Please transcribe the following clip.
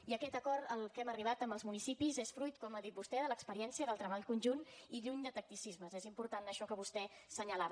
i aquest acord al que hem arribat amb els municipis és fruit com ha dit vostè de l’experiència del treball conjunt i lluny de tacticismes és important això que vostè assenyalava